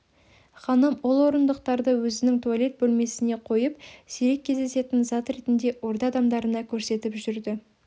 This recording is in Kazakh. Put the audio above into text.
ханым ол орындықтарды өзінің туалет бөлмесіне қойып сирек кездесетін зат ретінде орда адамдарына көрсетіп жүрді